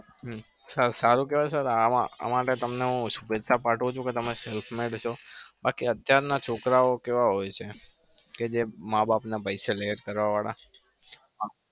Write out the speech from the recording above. હમ sir સારું કેવાય sir આ માટે તમને હું શુભેચ્છા પાઠવું છુ કે તમે બાકી અત્યારના છોકરાઓ કેવા હોય છે કે જે માં બાપના પૈસે લહેર કરવા વાળા.